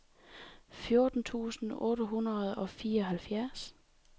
fjorten tusind otte hundrede og fireoghalvfjerds